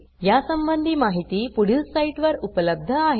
यासंबंधी माहिती पुढील साईटवर उपलब्ध आहे